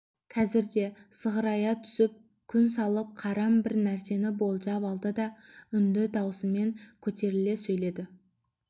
қазірде сығырая түсіп күн салып қарап бір нәрсені болжап алды да үнді даусымен көтеріле сөйледі